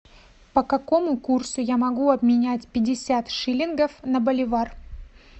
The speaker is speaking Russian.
по какому курсу я могу обменять пятьдесят шиллингов на боливар